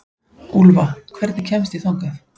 Úlfa, hvernig kemst ég þangað?